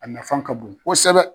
A nafan ka bon kosɛbɛ.